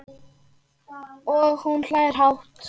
Og hún hlær hátt.